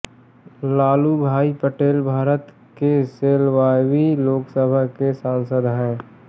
लालूभाई पटेल भारत की सोलहवीं लोकसभा के सांसद हैं